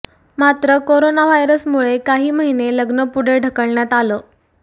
मात्र करोना व्हायरसमुळे काही महिने लग्न पुढे ढकलण्यात आलं